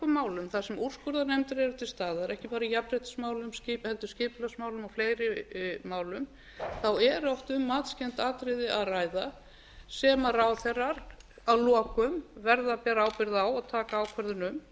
málum þar sem úrskurðarnefndir eru til staðar ekki bara í jafnréttismálum heldur skipulagsmálum og fleiri málum er oft um matskennd atriði að ræða sem ráðherrar að lokum verða að bera ábyrgð á og taka ákvörðun um